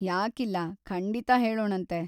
ಯಾಕಿಲ್ಲ, ಖಂಡಿತ ಹೇಳೋಣಂತೆ.